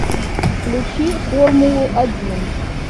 включи формулу один